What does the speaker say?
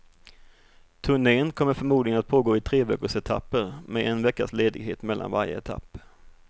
Turnen kommer förmodligen att pågå i treveckorsetapper med en veckas ledighet mellan varje etapp.